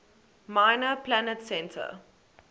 minor planet center